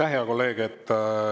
Aitäh, hea kolleeg!